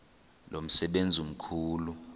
lo msebenzi mkhulu